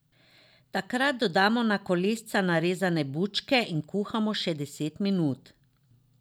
Takrat dodamo na kolesca narezane bučke in kuhamo še deset minut.